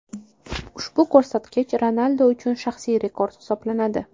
Ushbu ko‘rsatkich Ronaldu uchun shaxsiy rekord hisoblanadi.